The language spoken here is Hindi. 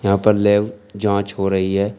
यहां पर लैब जांच हो रही है।